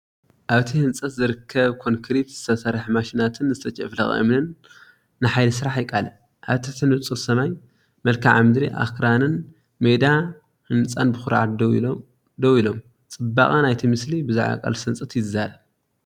ኣብቲ ህንጸት ዝርከብ ኮንክሪት ዝሰርሓ ማሽናትን ዝተጨፍለቐ እምንን ንሓይሊ ስራሕ የቃልዕ። ኣብ ትሕቲ ንጹር ሰማይ፡ መልክዓ ምድሪ ኣኽራንን ሜዳ ህንጻን ብኹርዓት ደው ኢሎም፤ ጽባቐ ናይቲ ምስሊ ብዛዕባ ቃልሲ ህንጸት ይዛረብ።